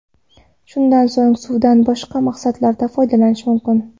Shundan so‘ng suvdan boshqa maqsadlarda foydalanish mumkin.